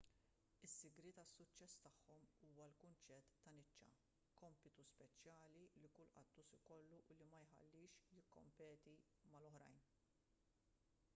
is-sigriet għas-suċċess tagħhom huwa l-kunċett ta' niċċa kompitu speċjali li kull qattus ikollu u li ma jħallihx jikkompeti mal-oħrajn